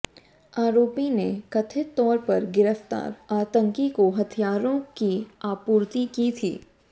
आरोपी ने कथित तौर पर गिरफ्तार आतंकी को हथियारों की आपूर्ति की थी